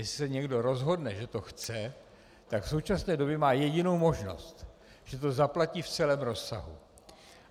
Jestli se někdo rozhodne, že to chce, tak v současné době má jedinou možnost, že to zaplatí v celém rozsahu.